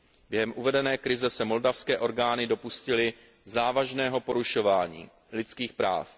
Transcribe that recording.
Během uvedené krize se moldavské orgány dopustily závažného porušování lidských práv.